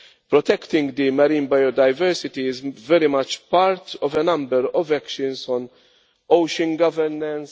Protecting marine biodiversity is very much part of a number of actions on ocean governance.